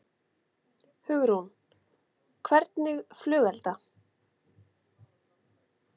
Hugrún: Hvernig flugelda?